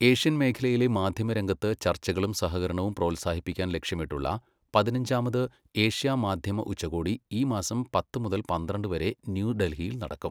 Asian മേഖലയിലെ മാധ്യമ രംഗത്ത് ചർച്ചകളും സഹകരണവും പ്രോത്സാഹിപ്പിക്കാൻ ലക്ഷ്യമിട്ടുള്ള പതിനഞ്ചാമത് ഏഷ്യാ മാധ്യമ ഉച്ചകോടി ഈ മാസം പത്ത് മുതൽ പന്ത്രണ്ട് വരെ ന്യൂഡൽഹിയിൽ നടക്കും.